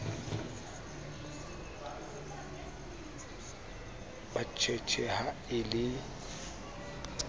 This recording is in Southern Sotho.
ba tjhetjhe ha e le